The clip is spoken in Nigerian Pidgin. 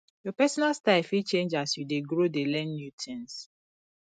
your personal style fit change as you dey grow dey learn new things